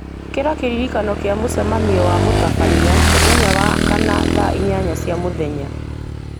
ĩkĩra kĩririkano kĩa mũcemanio wa mũtabania mũthenya wa kana thaa inyanya cia mũthenya